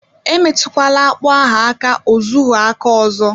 Emetụkwala akpụ ahụ aka ọzọhụ aka ọzọ